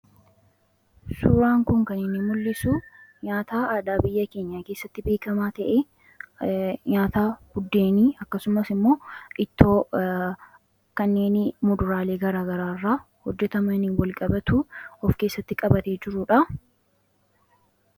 Suuraan kun kan inni mul'isu nyaata aadaa biyya keenya keessatti beekamaa ta'e nyaata buddeenii akkasumas immoo ittoo kanneeni muduraalee garaagaraa irraa hojjetamanin wal-qabatu of keessatti qabate jiruudha.